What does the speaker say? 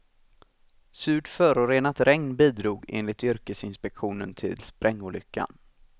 Surt, förorenat regn bidrog, enligt yrkesinspektionen, till sprängolyckan.